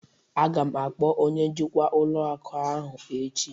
Aga m akpọ onye njikwa ụlọ akụ ahụ echi